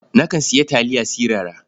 Nakan sayi taliya sirara.